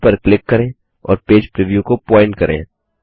file पर click करें और पेज प्रीव्यू को प्वॉइंट करें